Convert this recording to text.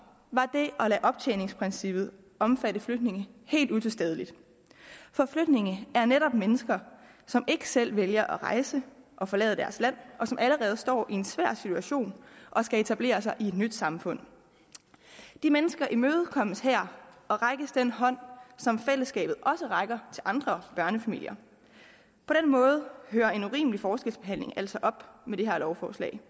var det at lade optjeningsprincippet omfatte flygtninge helt utilstedeligt for flygtninge er netop mennesker som ikke selv vælger at rejse og forlade deres land og som allerede står i en svær situation og skal etablere sig i et nyt samfund de mennesker imødekommes her og rækkes den hånd som fællesskabet også rækker andre børnefamilier på den måde hører en urimelig forskelsbehandling altså op med det her lovforslag